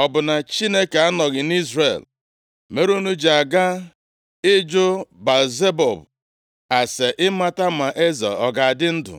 Ọ bụ na Chineke anọghị nʼIzrel mere unu ji aga ịjụ Baal-Zebub ase ịmata ma eze ọ ga-adị ndụ?’